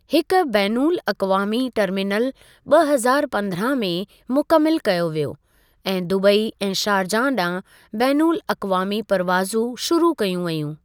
हिक बैनुल अक़वामी टरमीनल ॿ हज़ारु पंद्रहां में मुकमिलु कयो वियो ऐं दुबई ऐं शारजहां ॾांहुं बैनुल अक़वामी परवाज़ूं शुरू कयूं वेयूं।